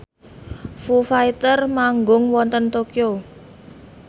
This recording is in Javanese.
Foo Fighter manggung wonten Tokyo